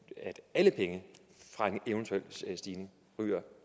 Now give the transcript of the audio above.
at alle penge fra en eventuel stigning